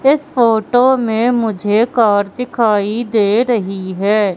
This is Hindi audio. इस फोटो मे मुझे कार दिखाई दे रही है।